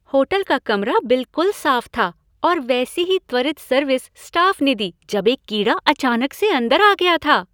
Hotel का कमरा बिलकुल साफ था, और वैसी ही त्वरित सर्विस स्टाफ ने दी जब एक कीड़ा अचानक से अंदर आ गया था।